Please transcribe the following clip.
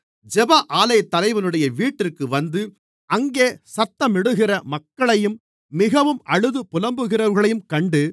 ஜெப ஆலயத்தலைவனுடைய வீட்டிற்கு வந்து அங்கே சத்தமிடுகிற மக்களையும் மிகவும் அழுது புலம்புகிறவர்களையும் கண்டு